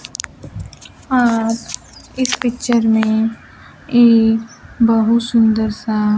अह इस पिक्चर में एक बहुत सुंदर सा--